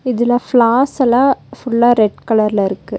இதுல ஃபிளார்ஸ் எல்லா ஃபுல்லா ரெட் கலர்ல இருக்கு.